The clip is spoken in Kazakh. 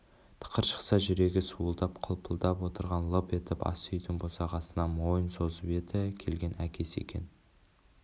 тықыр шықса жүрегі суылдап қылпылдап отырған лып етіп ас үйдің босағасынан мойын созып еді келген әкесі екен